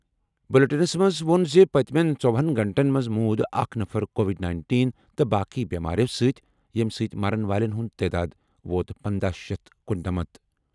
بلیٹنَس منٛز ووٚن زِ پٔتِمٮ۪ن ژووُہن گھنٹَن منٛز موٗد اکھ نفر کووڈ نینٹین تہٕ باقٕے بٮ۪مارٮ۪و سۭتۍ، ییٚمہِ سۭتۍ مرن والٮ۪ن ہُنٛد تعداد ووت پنداہ شیتھ کُننمتھ